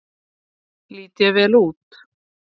Lít ég vel út?